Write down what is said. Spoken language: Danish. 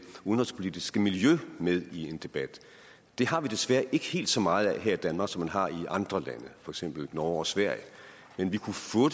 udenrigspolitiske miljø med i en debat det har vi desværre ikke helt så meget af her i danmark som man har i andre lande for eksempel norge og sverige men vi kunne få